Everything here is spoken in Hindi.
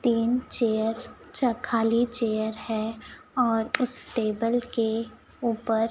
तीन चेयर अच्छा खाली चेयर है और उस टेबल के ऊपर --